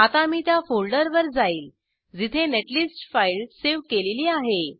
आता मी त्या फोल्डरवर जाईल जिथे नेट लिस्ट फाईल सेव केलेली आहे